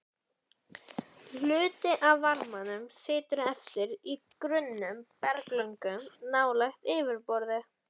Hluti af varmanum situr eftir í grunnum berglögum nálægt yfirborði.